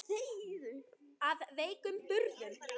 Af veikum burðum.